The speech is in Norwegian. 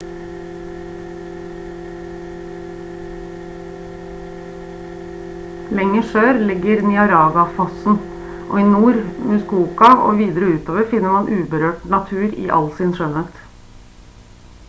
lenger sør ligger niagarafossen og i nord i muskoka og videre utover finner man uberørt natur i all sin skjønnhet